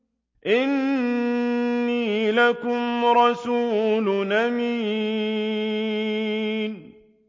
إِنِّي لَكُمْ رَسُولٌ أَمِينٌ